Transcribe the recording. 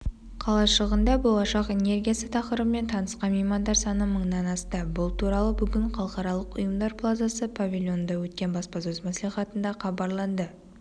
қалашығында болашақ энергиясы тақырыбымен танысқан меймандар саны мыңнан асты бұл туралы бүгін халықаралық ұйымдар плазасы павильонында өткен баспасөз-мәслихатында хабарланды